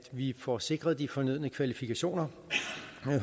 vi får sikret de fornødne kvalifikationer